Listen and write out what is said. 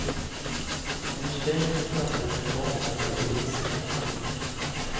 Under strejken kastades en bomb mot de poliser som ingrep.